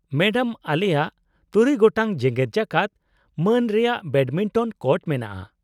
-Madam, ᱟᱞᱮᱭᱟᱜ ᱖ ᱜᱚᱴᱟᱝ ᱡᱮᱜᱮᱫ ᱡᱟᱠᱟᱛ ᱢᱟᱹᱱ ᱨᱮᱭᱟᱜ ᱵᱮᱰᱢᱤᱱᱴᱚᱱ ᱠᱳᱨᱴ ᱢᱮᱱᱟᱜᱼᱟ ᱾